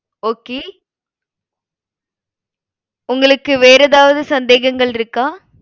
okay உங்களுக்கு வேற ஏதாவது சந்தேகங்கள் இருக்கா